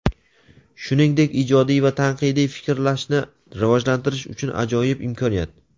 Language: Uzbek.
shuningdek ijodiy va tanqidiy fikrlashni rivojlantirish uchun ajoyib imkoniyat.